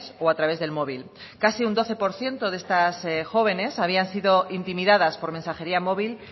o a través del móvil casi un doce por ciento de estas jóvenes habían sido intimidadas por mensajería móvil